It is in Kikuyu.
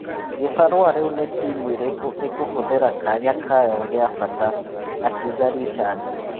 Gibarua rĩu nĩ timu ĩrĩkũ ĩkũhũthĩra kanya kayo gĩabata," akauga Richandi.